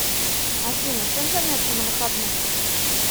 афина чем заняться на выходных